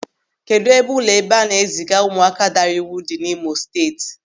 Kedụ ebe ụlọ ebe a na-eziga ụmụaka daara iwu dị n'Imo Steeti?